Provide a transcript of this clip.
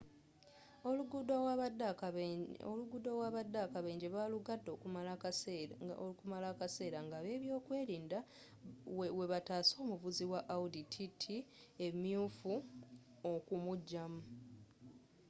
oluguudo awaabadde akabenje baalugadde okumala akaseera ng'abebyokwerinda webataasa omuvuzi wa audi tt emyuufu okumujamu